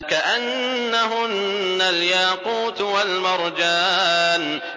كَأَنَّهُنَّ الْيَاقُوتُ وَالْمَرْجَانُ